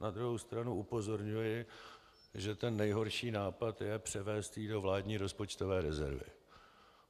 Na druhou stranu upozorňuji, že ten nejhorší nápad je převést ji do vládní rozpočtové rezervy.